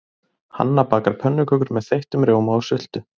Hanna bakar pönnukökur með þeyttum rjóma og sultu.